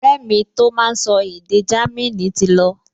Ọ̀rẹ́ mi tó máa n sọ èdè Jámínì ti lọ